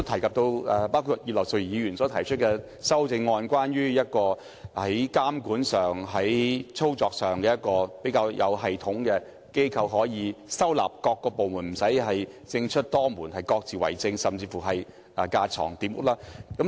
葉劉淑儀議員提出的修正案，建議成立一個專責推動旅遊事務的監管機構，以統籌各個部門，避免政出多門，各自為政，甚至架床疊屋。